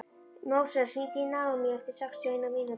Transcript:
Móses, hringdu í Naómí eftir sextíu og eina mínútur.